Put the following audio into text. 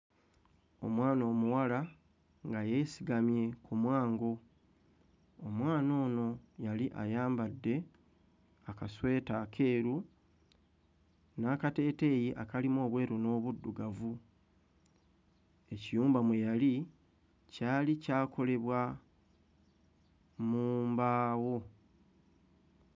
Omwana omuwala nga yeesigamye ku mwango. Omwana ono yali ayambadde akasweta akeeru n'akateeteeyi akalimu obweru n'obuddugavu. Ekiyumba mwe yali kyali kyakolebwa mu mbaawo.